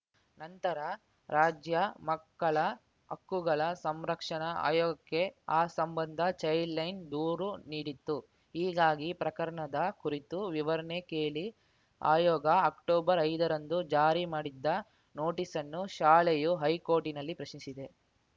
ನಂತರ ರಾಜ್ಯ ಮಕ್ಕಳ ಹಕ್ಕುಗಳ ಸಂರಕ್ಷಣಾ ಆಯೋಗಕ್ಕೆ ಆ ಸಂಬಂಧ ಚೈಲ್ಡ್‌ ಲೈನ್‌ ದೂರು ನೀಡಿತ್ತು ಹೀಗಾಗಿ ಪ್ರಕರಣದ ಕುರಿತು ವಿವರಣೆ ಕೇಳಿ ಆಯೋಗ ಅಕ್ಟೊಬರ್ಐದರಂದು ಜಾರಿ ಮಾಡಿದ್ದ ನೋಟಿಸ್ಸನ್ನು ಶಾಲೆಯು ಹೈಕೋರ್ಟ್‌ನಲ್ಲಿ ಪ್ರಶ್ನಿಸಿದೆ